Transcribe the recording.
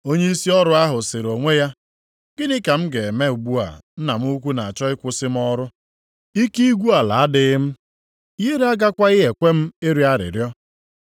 “Onyeisi ọrụ ahụ sịrị onwe ya, ‘Gịnị ka m ga-eme ugbu a nna m ukwu na-achọ ịkwụsị m ọrụ? Ike igwu ala adịghị m, ihere agakwaghị ekwe m ịrịọ arịrịọ.